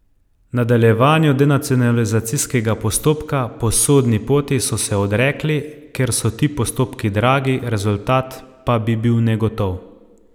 Nadaljevanju denacionalizacijskega postopka po sodni poti so se odrekli, ker so ti postopki dragi, rezultat pa bi bil negotov.